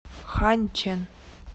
ханьчэн